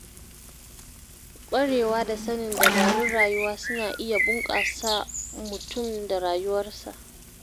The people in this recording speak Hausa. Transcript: Ƙwarewa da sanin dabarun rayuwa suna iya bunƙasa mutum da rayuwarsa.